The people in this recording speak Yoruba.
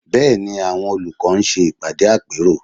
Bẹ́ẹ̀ ni, àwọn olùkọ́ ń ṣe ìpàdé àpérò